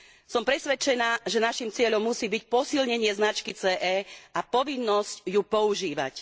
Som presvedčená, že naším cieľom musí byť posilnenie značky CE a povinnosť ju používať.